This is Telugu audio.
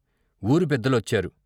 ఊరి పెద్దలొచ్చారు.